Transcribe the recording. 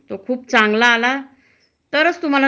तो जर मजूर चांगल काम करत असेल,